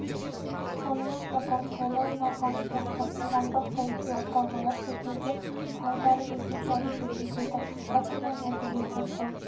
сонымен қатар сайлау науқаны сияқты қоғамдық-саяси оқиғалар кезінде де құралдары өзінше әрекет етеді әртүрлі нәтижеге қол